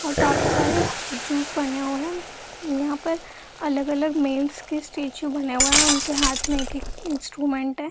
और काफी स्टेच्यू बने हुए हैं यहां पर अलग-अलग मेल्स के स्टेच्यू बने उनके हाथ में एक एक इंस्ट्रूमेंट है।